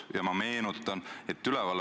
Lõpetan selle küsimuse käsitlemise.